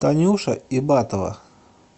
танюша ибатова